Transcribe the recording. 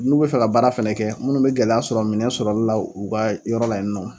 N'u bɛ fɛ ka baara fɛnɛ kɛ, munnu bɛ gɛlɛya sɔrɔ minɛ sɔrɔli la u ka yɔrɔ la yen nɔ.